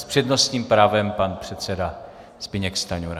S přednostním právem pan předseda Zbyněk Stanjura.